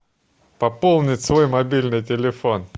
пополнить свой мобильный телефон